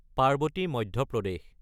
Parvati (Madhya Pradesh)